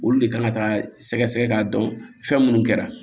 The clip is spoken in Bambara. Olu de kan ka taa sɛgɛ sɛgɛ k'a dɔn fɛn munnu kɛra